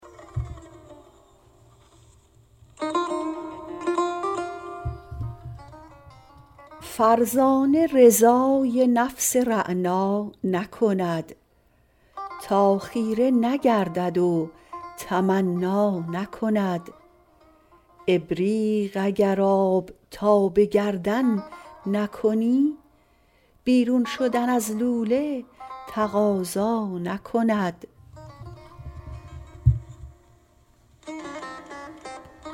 فرزانه رضای نفس رعنا نکند تا خیره نگردد و تمنا نکند ابریق اگر آب تا به گردن نکنی بیرون شدن از لوله تقاضا نکند